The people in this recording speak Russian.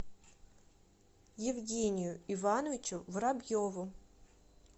евгению ивановичу воробьеву